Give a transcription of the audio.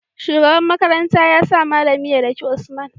shugaban makaranta yasa mallami ya daki usman